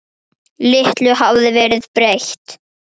Litlu hafði verið breytt.